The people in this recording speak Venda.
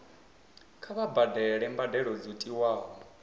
kha vha badele mbadelo dzo tiwaho